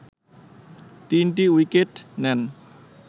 তিনটি উইকেট নেন